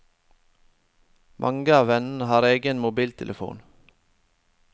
Mange av vennene har egen mobiltelefon.